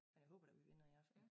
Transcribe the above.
Og jeg håber da vi vinder i aften